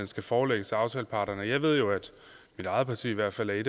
skal forelægges aftaleparterne og jeg ved jo at mit eget parti i hvert fald er